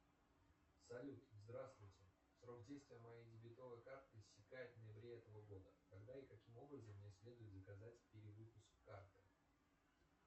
салют здравствуйте срок действия моей дебетовой карты истекает в ноябре этого года когда и каким образом мне следует заказать перевыпуск карты